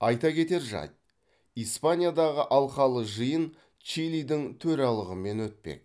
айта кетер жайт испаниядағы алқалы жиын чилидің төралығымен өтпек